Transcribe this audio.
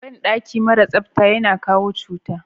Banɗaki maras tsafta yana kawo cuta.